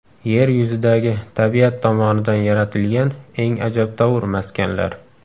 Yer yuzidagi tabiat tomonidan yaratilgan eng ajabtovur maskanlar .